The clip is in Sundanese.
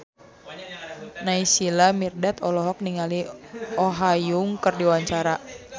Naysila Mirdad olohok ningali Oh Ha Young keur diwawancara